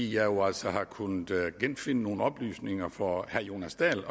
jo altså kunnet genfinde nogle oplysninger fra herre jonas dahl